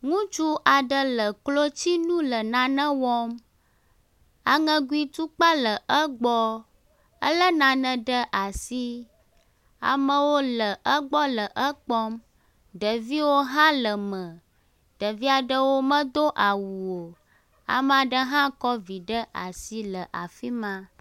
Ŋutsu aɖe le klotsinu le nane wɔm. Aŋegui tukpa le egbɔ. Ele nane ɖe asi. Amewo le egbɔ le ekpɔm. Ɖeviwo hã le eme, ɖevia aɖewo medo awu o. Ame aɖe hã kɔ evi ɖe asi le afi ma.